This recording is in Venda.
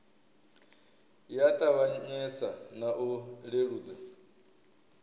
ya ṱavhanyesa na u leludza